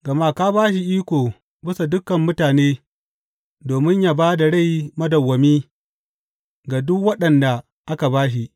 Gama ka ba shi iko bisa dukan mutane domin yă ba da rai madawwami ga duk waɗanda ka ba shi.